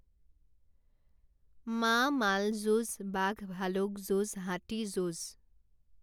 মা মাল যুঁজ বাঘ ভালুক যুঁজ হাতী যুঁজ